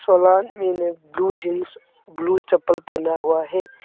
काला आदमी ने ब्लू जींस ब्लू चप्पल पहना हुआ है।